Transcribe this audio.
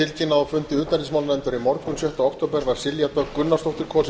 á fundi utanríkismálanefndar í morgun sjötta október var silja dögg gunnarsdóttir kosin